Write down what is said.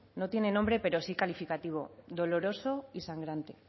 no tiene nombre pero sí calificativo doloroso y sangrante